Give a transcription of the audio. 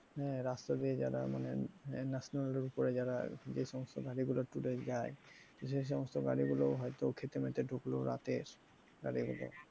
হ্যাঁ রাস্তা দিয়ে যারা মানে national ওপরে যারা যে সমস্ত গাড়িগুলো tour এ যায় সে সমস্ত গাড়িগুলো হয়তো খেতে মেতে ঢুকলো রাতের গাড়ী গুলো,